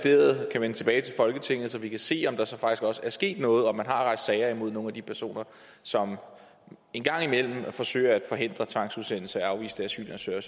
vil vende tilbage så vi kan se om der så faktisk også er sket noget og om man har rejst sager imod nogle af de personer som en gang imellem forsøger at forhindre tvangsudsendelse af afviste asylansøgere